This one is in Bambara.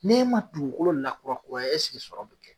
N'e ma dugukolo lakura kuraya esigi sɔrɔ be kɛ